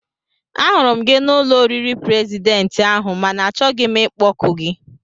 Ahụrụ m gị n'ụlọ oriri prezidentị ahụ mana achọghị m ịkpọku gị